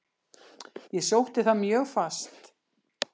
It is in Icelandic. Ég sótti það mjög fast.